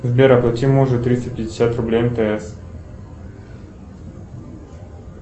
сбер оплати мужу триста пятьдесят рублей мтс